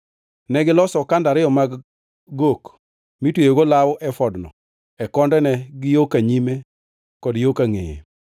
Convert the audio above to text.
Negiloso okanda ariyo mag gok mitweyogo law efodno e kondene gi yo ka nyime kod yo kangʼeye.